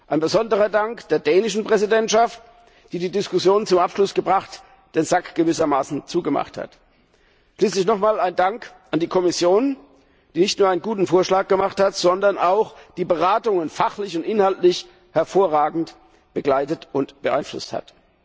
Ein besonderer Dank gilt der dänischen Präsidentschaft, die die Diskussionen zum Abschluss gebracht, den Sack gewissermaßen zugemacht hat. Schließlich noch einmal ein Dank an die Kommission, die nicht nur einen guten Vorschlag vorgelegt hat, sondern auch die Beratungen fachlich und inhaltlich hervorragend begleitet und beeinflusst hat.